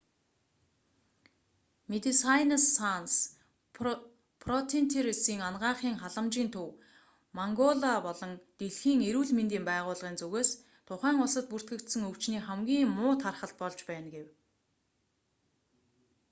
медесайнес санс фронтиересийн анагаахын халамжийн төв мангола болон дэлхийн эрүүл мэндийн байгууллагын зүгээс тухайн улсад бүртгэгдсэн өвчний хамгийн муу тархалт болж байна гэв